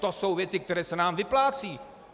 To jsou věci, které se nám vyplácejí.